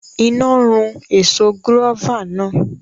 Iná run èso gúrófà náà